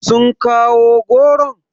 Sun kawo goron?